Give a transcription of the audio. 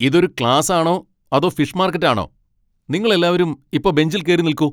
ഇത് ഒരു ക്ലാസാണോ അതോ ഫിഷ് മാർക്കറ്റാണോ? നിങ്ങളെല്ലാരും ഇപ്പോ ബെഞ്ചിൽ കേറി നിൽക്കൂ!